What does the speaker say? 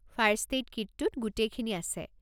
First aid কিটটোত গোটেইখিনি আছে।